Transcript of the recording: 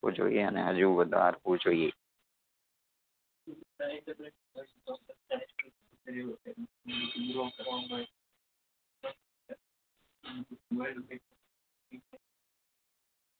વું જોઈએ અને હજુ વધારવું જોઈએ